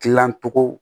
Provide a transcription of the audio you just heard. Dilancogo